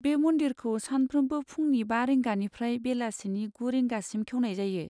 बे मन्दिरखौ सानफ्रोमबो फुंनि बा रिंगानिफ्राय बेलासिनि गु रिंगासिम खेवनाय जायो।